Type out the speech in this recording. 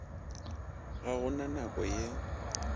ga go na nako ye